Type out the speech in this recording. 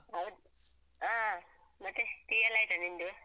ಹೌದ್ ಹಾ ಮತ್ತೆ tea ಎಲ್ಲ ಆಯ್ತಾ ನಿಂದು?